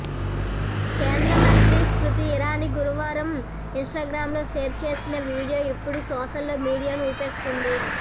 కేంద్ర మంత్రి స్మృతి ఇరానీ గురువారం ఇన్స్టాగ్రామ్లో షేర్ చేసిన వీడియో ఇప్పుడు సోషల్ మీడియాను ఊపేస్తుంది